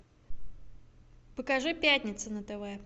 покажи пятница на тв